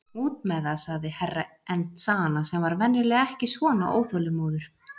Út með þeð, sagði Herra Enzana sem var venjulega ekki svona óþolinmóður.